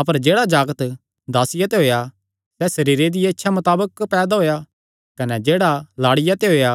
अपर जेह्ड़ा जागत दासिया ते होएया सैह़ सरीरे दिया इच्छा मताबक पैदा होएया कने जेह्ड़ा लाड़िया ते होएया